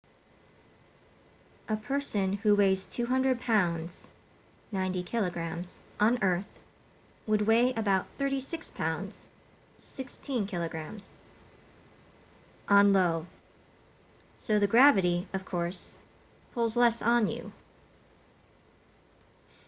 a person who weighs 200 pounds 90kg on earth would weigh about 36 pounds 16kg on io. so the gravity of course pulls less on you